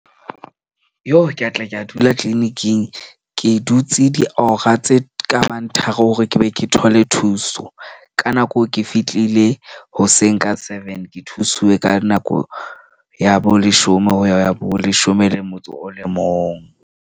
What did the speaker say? Ka tla ka dula clinic-ing. Ke dutse diora tse kabang tharo hore ke be ke thole thuso. Ka nako eo ke fihlile hoseng ka seven. Ke thusuwe ka nako ya bo leshome ho ya bo leshome le motso o le mong.